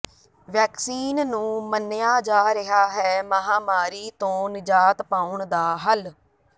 vaccine ਨੂ ਮੰਨਿਆ ਜਾ ਰਿਹਾ ਹੈ ਮਹਾਮਾਰੀ ਤੋਂ ਨਿਜਾਤ ਪਾਉਣ ਦਾ ਹੱਲ